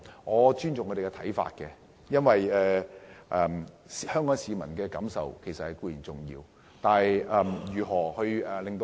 我尊重他們的看法，因為香港市民的感受也十分重要。